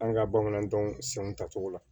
An ka bamanan dɔn senw tacogo la